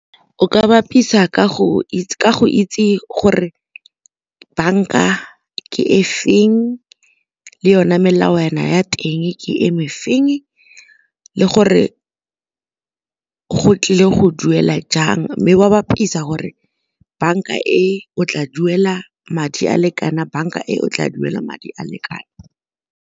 O ka bapisa ka go itse gore banka ke e feng le yona melawana ya teng ke e me feng, le gore go tlile go duela jang mme wa bapisa gore banka e o tla duela madi a le kana banka e o tla duela madi a le kana.